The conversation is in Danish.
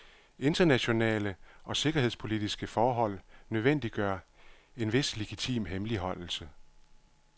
Internationale og sikkerhedspolitiske forhold nødvendiggør en vis legitim hemmeligholdelse.